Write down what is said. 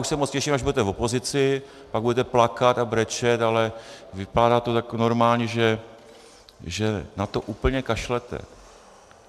Už se moc těším, až budete v opozici, pak budete plakat a brečet, ale vypadá to jako normální, že na to úplně kašlete.